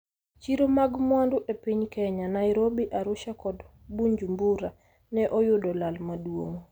Chiro mag mwandu e piny Kenya, Nairobi, Arusha kod Bunjumbura ne oyudo lal maduong'.